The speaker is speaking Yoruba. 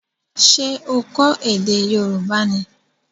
Ṣé o kọ ède Yorùbá ni?